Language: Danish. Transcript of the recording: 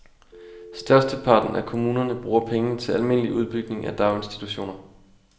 Størsteparten af kommunerne bruger pengene til almindelig udbygning af daginstitutioner.